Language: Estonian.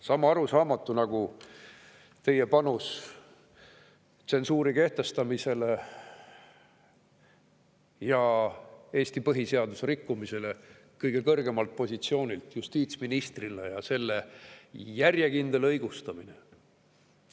Sama arusaamatu nagu teie panus tsensuuri kehtestamisse ja Eesti põhiseaduse rikkumisse kõige kõrgemal positsioonil, justiitsministrina, ja selle järjekindel õigustamine.